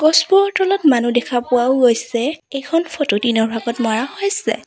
গছবোৰৰ তলত মানুহ দেখা পোৱাও গৈছে এইখন ফটো দিনৰ ভাগত মৰা হৈছে।